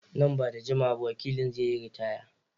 Nan ba da jimawa ba wakilin zai yi ritaya.